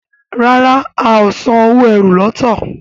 ràrá o ào sàn owo ẹ́rù lọto.